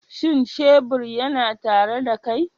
Shin shebur yana tare da kai?